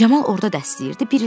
Camal orda dərs deyirdi.